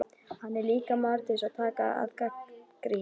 En hann er líka maður til að taka gagnrýni.